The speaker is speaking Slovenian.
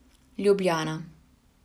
Ljubljana.